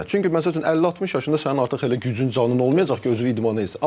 Çünki məsəl üçün 50-60 yaşında sənin artıq elə gücün, canın olmayacaq ki, özünü idmana eləsən.